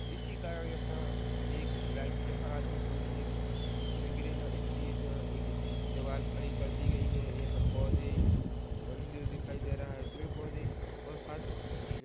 इसी कारण यहाँ एक लाईव जहाज में घूमने गे उसमें गिरे ना इसलिए यहाँ एक दीवाल खड़ी कर दी गई है यह पोधे मंदिर दिखाई दे रहा है पेड़-पौध और फर्श --